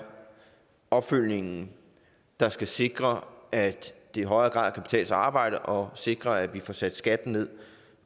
opfølgningen der skal sikre at det i højere grad kan betale sig at arbejde og sikre at vi får sat skatten ned